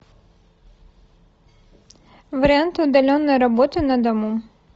варианты удаленной работы на дому